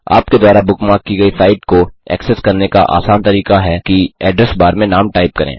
आपके द्वारा बुकमार्क की गई साइट को एक्सेस करने का आसान तरीका है कि एड्रेस बार में नाम टाइप करें